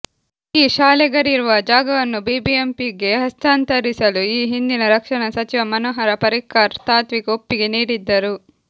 ಈ ಶಾಲೆಗಳಿರುವ ಜಾಗವನ್ನು ಬಿಬಿಎಂಪಿಗೆ ಹಸ್ತಾಂತರಿಸಲು ಈ ಹಿಂದಿನ ರಕ್ಷಣಾ ಸಚಿವ ಮನೋಹರ ಪರಿಕ್ಕರ್ ತಾತ್ವಿಕ ಒಪ್ಪಿಗೆ ನೀಡಿದ್ದರು